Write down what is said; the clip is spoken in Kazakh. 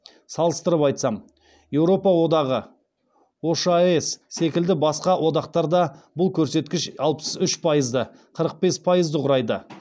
салыстырып айтсам еуропа одағы ошаес секілді басқа одақтарда бұл көрсеткіш алпыс үш пайызды қырық бес пайызды құрайды